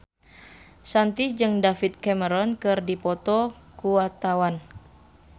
Shanti jeung David Cameron keur dipoto ku wartawan